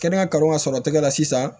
Kɛnɛya kalanw ka sɔrɔ tɛgɛ la sisan